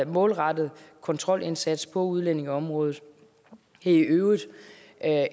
målrettet kontrolindsats på udlændingeområdet det er i øvrigt